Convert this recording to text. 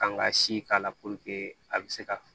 Kan ka si k'a la a bɛ se ka